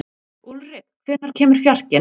Úlrik, hvenær kemur fjarkinn?